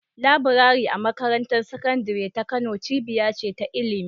Laburare a Makarantar Sakandare ta Kano cibiya ce ta ilimi.